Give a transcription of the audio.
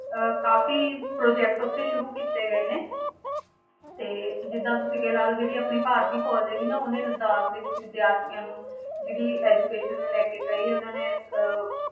ਅਹ ਕਾਫ਼ੀ project ਉੱਥੇ ਸ਼ੁਰੂ ਕੀਤੇ ਗਏ ਨੇ ਤੇ ਜਿੱਦਾਂ ਤੁਸੀਂ ਕਿ ਲਾ ਲਓ ਜਿਹੜੀ ਆਪਣੀ ਭਾਰਤੀ ਫ਼ੌਜ ਹੈਗੀ ਨਾ ਉਹਨੇ ਲਾਦਾਖ ਦੇ ਵਿੱਚ ਵਿਦਿਆਰਥੀਆਂ ਨੂੰ ਜਿਹੜੀ education ਨੂੰ ਲੈ ਕੇ ਕਈ ਉਹਨਾਂ ਨੇ ਅਹ